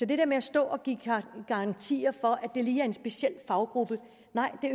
det der med at stå og give garantier for at det lige er en speciel faggruppe